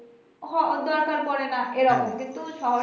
হ দরকার পড়ে না এরকম কিন্তু শহরে